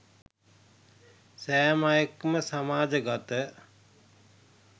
සෑම අයෙක් ම සමාජගත